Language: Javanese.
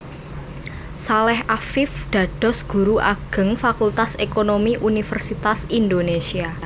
Saleh Afiff dados Guru Ageng Fakultas Ekonomi Universitas Indonésia